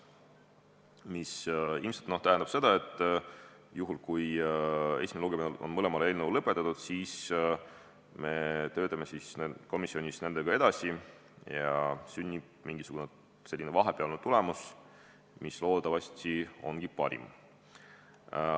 See ilmselt tähendab seda, et juhul kui esimene lugemine on mõlemal eelnõul lõpetatud, siis me töötame komisjonis nendega edasi ja sünnib mingisugune vahepealne tulemus, mis loodetavasti ongi parim.